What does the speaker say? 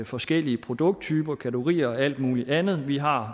forskellige produkttyper kategorier og alt mulig andet vi har